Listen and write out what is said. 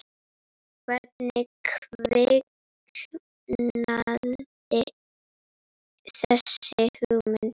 Hvernig kviknaði þessi hugmynd?